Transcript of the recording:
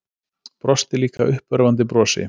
Brosti líka uppörvandi brosi.